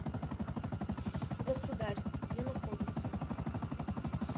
государъ где находится